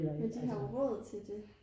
men de har jo råd til det